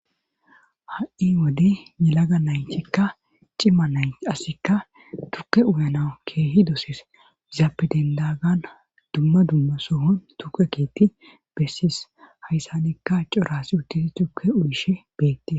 Ha'i wode nelaga naytikka cimma nayti assika tuke uyana keehi dosees izaapedendagan dumma dumma sohon tuke kiiti bessis hayssanikka corasi uttisi tukke uyishe beette.